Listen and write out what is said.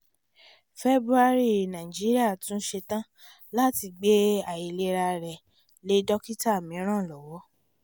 february nàìjíríà tún setán láti gbé àìlera rẹ̀ lé dókítà míràn lọ́wọ́